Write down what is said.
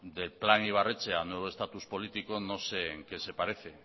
de plan ibarretxe a nuevo estatus político no sé en qué se parece